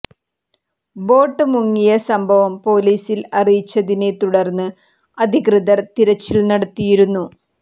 boat മുങ്ങിയ സംഭവം പോലീസിൽ അറിയിച്ചതിനെ തുടർന്ന് അധികൃതർ തിരച്ചിൽ നടത്തിയിരുന്നു